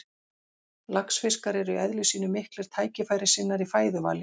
Laxfiskar eru í eðli sínu miklir tækifærissinnar í fæðuvali.